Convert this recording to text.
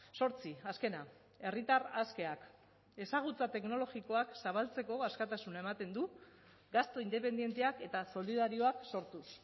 zortzi azkena herritar askeak ezagutza teknologikoak zabaltzeko askatasuna ematen du gastu independenteak eta solidarioak sortuz